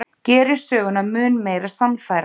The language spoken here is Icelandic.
Gerir söguna mun meira sannfærandi.